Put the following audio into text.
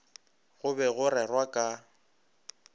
go be go rerwa ka